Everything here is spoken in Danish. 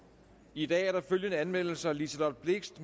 i dag er der følgende anmeldelser liselott blixt